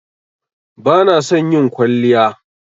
Bana son yin kwalliya.